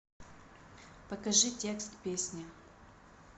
покажи текст песни